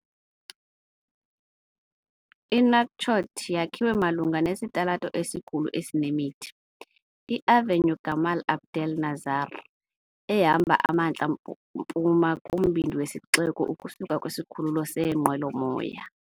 INouakchott yakhiwe malunga nesitalato esikhulu esinemithi, iAvenue Gamal Abdel Nasser, ehamba emantla mpuma kumbindi wesixeko ukusuka kwisikhululo seenqwelomoya.